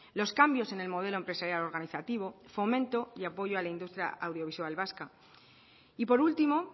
los cambios en el modelo empresarial organizativo fomento y apoyo a la industria audiovisual vasca y por último